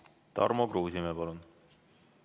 Tarmo Kruusimäe, palun!